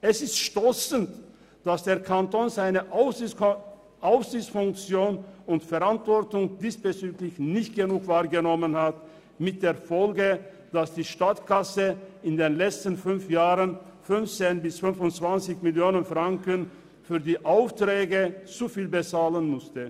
Es ist stossend, dass der Kanton seine Aufsichtsfunktion und Verantwortung diesbezüglich nicht genug wahrgenommen hat, mit der Folge, dass die Staatskasse in den letzten fünf Jahren 15 bis 25 Mio. Franken zu viel für die Aufträge bezahlen musste.